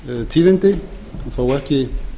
tíðindi þó ekki